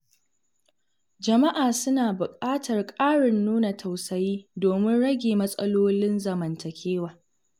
Jama’a suna buƙatar ƙarin nuna tausayi domin rage matsalolin zamantakewa.